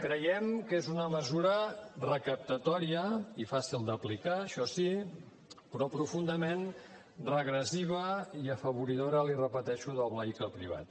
creiem que és una mesura recaptatòria i fàcil d’aplicar això sí però profundament regressiva i afavoridora l’hi repeteixo del vehicle privat